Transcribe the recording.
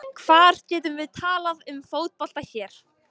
Hvar getum við talað um fótbolta hér?